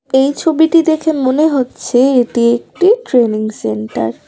এই ছবিটি দেখে মনে হচ্ছে এটি একটি ট্রেনিং সেন্টার ।